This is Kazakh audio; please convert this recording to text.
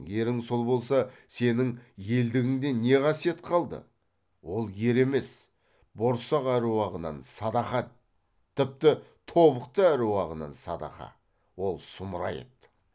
ерің сол болса сенің елдігіңде не қасиет қалды ол ер емес борсақ әруағынан садағат тіпті тобықты әруағынан садаға ол сұмырай еді